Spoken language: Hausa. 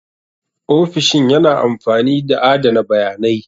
Ofishin yana amfani da adana bayanai.